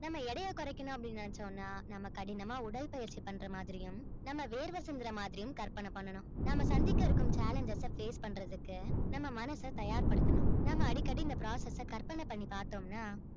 நம்ம எடையை குறைக்கணும் அப்படின்னு நினைச்சோம்னா நம்ம கடினமா உடற்பயிற்சி பண்ற மாதிரியும் நம்ம வேர்வை சிந்துற மாதிரியும் கற்பனை பண்ணணும் நாம சந்திக்க இருக்கும் challenges அ face பண்றதுக்கு நம்ம மனச தயார்படுத்தணும் நம்ம அடிக்கடி இந்த process அ கற்பனை பண்ணி பார்த்தோம்னா